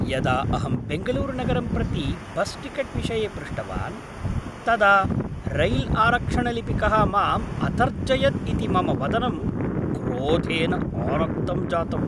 यदा अहं बेङ्गलूरुनगरं प्रति बस्टिकेट् विषये पृष्टवान् तदा रैल्आरक्षणलिपिकः माम् अतर्जयत् इति मम वदनं क्रोधेन आरक्तं जातम्।